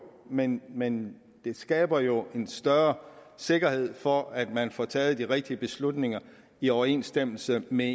men men det skaber jo en større sikkerhed for at man får taget de rigtige beslutninger i overensstemmelse med